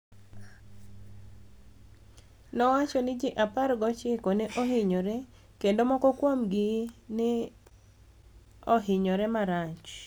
nowacho nii ji 19 ni e ohiniyore, kenido moko kuomgi ni e ohiniyore marach.